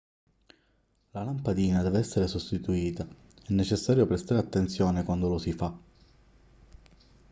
la lampadina deve essere sostituita è necessario prestare attenzione quando lo si fa